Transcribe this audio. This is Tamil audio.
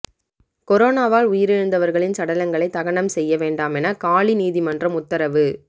கொரோனாவால் உயிரிழந்தவர்களின் சடலங்களை தகனம் செய்ய வேண்டாமென காலி நீதிமன்றம் உத்தரவு